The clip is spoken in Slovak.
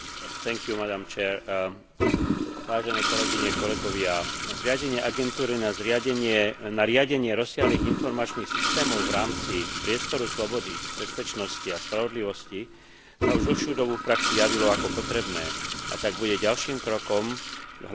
Zriadenie agentúry na riadenie rozsiahlych informačných systémov v rámci priestoru slobody, bezpečnosti a spravodlivosti sa už dlhšiu dobu v praxi javilo ako potrebné, a tak bude ďalším krokom k hladšiemu spracovávaniu a využívaniu informácií v rámci Európskej únie.